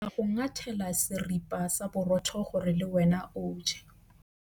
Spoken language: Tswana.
Ke tla go ngathela seripa sa borotho gore le wena o je.